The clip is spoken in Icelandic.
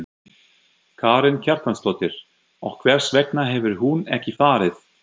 Karen Kjartansdóttir: Og hvers vegna hefur hún ekki farið?